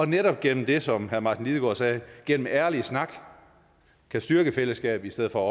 netop gennem det som herre martin lidegaard sagde nemlig ærlig snak kan styrke fællesskabet i stedet for